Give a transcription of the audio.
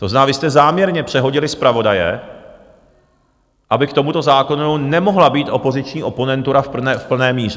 To znamená, vy jste záměrně přehodili zpravodaje, aby k tomuto zákonu nemohla být opoziční oponentura v plné míře.